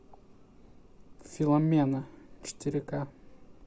феломена четыре ка